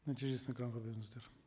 нәтижесін экранға беріңіздер